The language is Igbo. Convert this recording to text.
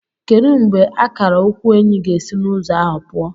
Kedu mgbe akara ukwu Enyi ga-esi n'ụzọ ahụ pụọ?